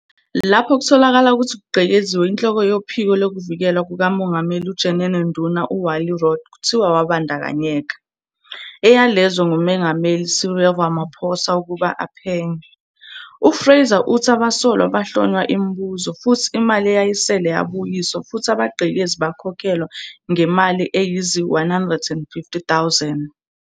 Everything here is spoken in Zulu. Lapho kutholakala ukuthi kugqekeziwe, inhloko yophiko lwezoVikelwa kukaMongameli uJenene-nduna u-Wally Rhoode kuthiwa wabandkanyeka, eyalezwe nguMengameli Cyril Ramaphosa ukuba aphenye. U-Fraser uthi abasolwa bahlonywa imibuzo, futhi imali eyayisele yabuyiswa, futhi abagqekezi bakhokhelwa ngemali eyizi-R150,000.